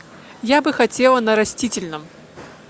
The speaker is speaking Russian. я бы хотела на растительном